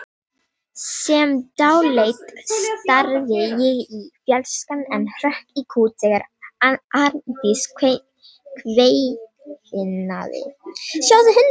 Sem dáleidd starði ég í fjarskann en hrökk í kút þegar Arndís kveinaði: Sjáðu hundinn!